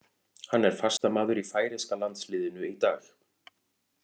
Hann er fastamaður í færeyska landsliðinu í dag.